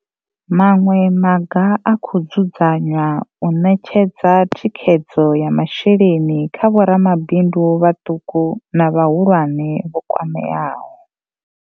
Maṅwe maga a khou dzudzanywa u ṋetshedza thikhedzo ya masheleni kha vho ramabindu vhaṱuku na vhahulwane vho kwameaho.